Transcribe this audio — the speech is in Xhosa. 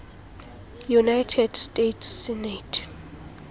united states senate